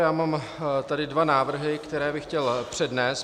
Já mám tedy dva návrhy, které bych chtěl přednést.